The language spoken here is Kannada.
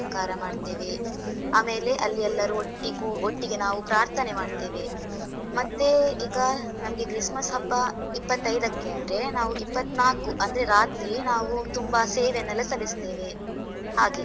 ಅಲಂಕಾರ ಮಾಡ್ತೇವೆ. ಆಮೇಲೆ ಅಲ್ಲಿ ಎಲ್ಲರೂ ಒಟ್ಟಿಕೂ, ಒಟ್ಟಿಗೆ ನಾವು ಪ್ರಾರ್ಥನೆ ಮಾಡ್ತೇವೆ. ಮತ್ತೇ, ಈಗ, ನಮ್ಗೆ christmas ಹಬ್ಬ ಇಪತ್ತೈದಕ್ಕೆ ಆದ್ರೆ ನಾವು ಇಪ್ಪತ್ನಾಕು ಅಂದ್ರೆ ರಾತ್ರಿ, ನಾವು ತುಂಬಾ ಸೇವೆನೆಲ್ಲ ಸಲ್ಲಿಸ್ತೇವೆ ಹಾಗೆ.